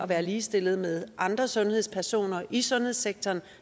være ligestillede med andre sundhedspersoner i sundhedssektoren og